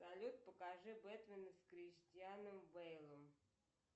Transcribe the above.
салют покажи бэтмена с кристианом бейлом